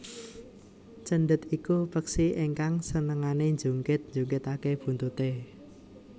Cendet iku peksi ingkang senengane njungkit njungkitake buntute